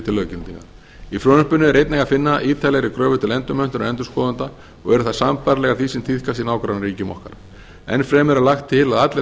til löggildingar í frumvarpinu er einnig að finna ítarlegri kröfur til endurmenntunar endurskoðenda og eru þær sambærilegar því sem tíðkast í nágrannaríkjum okkar enn fremur er lagt til að allir